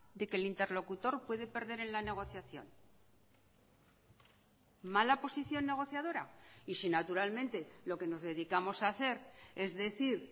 de que el interlocutor puede perder en la negociación mala posición negociadora y si naturalmente lo que nos dedicamos a hacer es decir